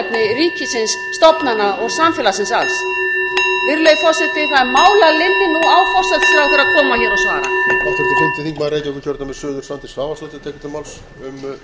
ríkisins stofnana og samfélagsins alls virðulegi forseti það er mál að linni nú á forsætisráðherra að koma hér og svara